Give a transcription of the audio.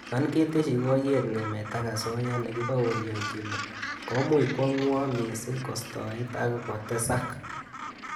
Yon keteshi koyet ngemet ak asoya nekiboorionyini, komuch kwo ngwo missing kostoet ak kotesak